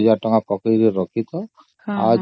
ସେଥିରେ ୨୦୦୦ କି ୫୦୦୦ ଟଙ୍କା ରଖିଦିଅ